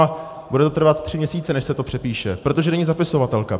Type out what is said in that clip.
A bude to trvat tři měsíce, než se to přepíše, protože není zapisovatelka.